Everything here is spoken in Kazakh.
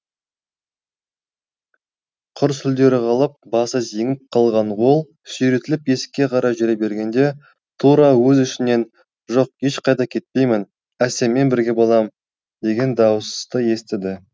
құр сүлдері қалып басы зеңіп қалған ол сүйретіліп есікке қарай жүре бергенде тура өз ішінен жоқ ешқайда кетпеймін әсеммен бірге болам деген дауысты естіді